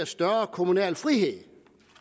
større kommunal frihed